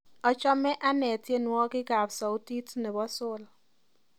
Achame ane tyenwogikab sautit nebo sol